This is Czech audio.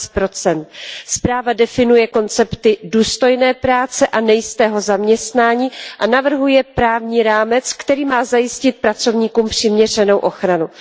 11. Zpráva definuje koncepty důstojné práce a nejistého zaměstnání a navrhuje právní rámec, který má zajistit pracovníkům přiměřenou ochranu.